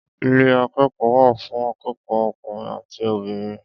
Ilé akẹ́kọ̀ọ́ wà fún akẹ́kọ̀ọ́ ọkùnrin àti obìnrin.